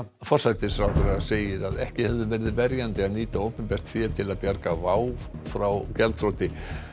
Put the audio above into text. forsætisráðherra segir að ekki hefði verið verjandi að nýta opinbert fé til að bjarga WOW air frá gjaldþroti